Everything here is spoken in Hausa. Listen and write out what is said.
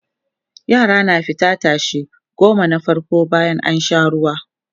yara na fita tashe goma na farko bayan an Sha ruwa